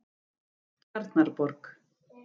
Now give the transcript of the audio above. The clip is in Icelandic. Tjarnarborg